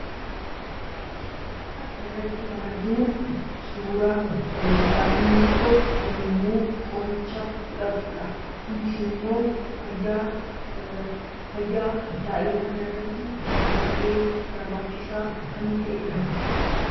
Suuraa kanarratti kan arginu, suuraa daa'imni tokko yemmuu qoricha fudhatudha. kunis immoo fayyaa daa'imaa kanarratti baay'ee barbaachisaa kan ta'edha.